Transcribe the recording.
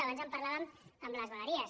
abans en parlàvem amb les vegueries